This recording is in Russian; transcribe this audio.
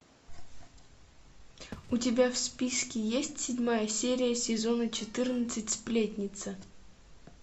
у тебя в списке есть седьмая серия сезона четырнадцать сплетница